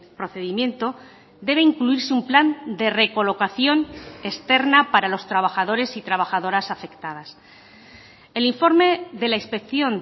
procedimiento debe incluirse un plan de recolocación externa para los trabajadores y trabajadoras afectadas el informe de la inspección